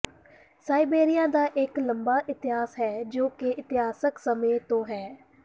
Siberia ਦਾ ਇਕ ਲੰਮਾ ਇਤਿਹਾਸ ਹੈ ਜੋ ਕਿ ਇਤਿਹਾਸਕ ਸਮੇਂ ਤੋਂ ਹੈ